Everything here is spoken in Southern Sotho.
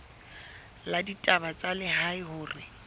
la ditaba tsa lehae hore